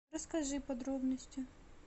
расскажи подробности